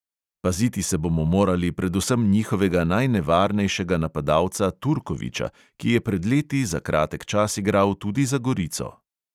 Paziti se bomo morali predvsem njihovega najnevarnejšega napadalca turkovića, ki je pred leti za kratek čas igral tudi za gorico.